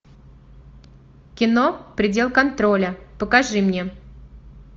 кино предел контроля покажи мне